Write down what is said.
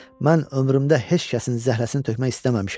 Mən ömrümdə heç kəsin zəhrəsini tökmək istəməmişəm.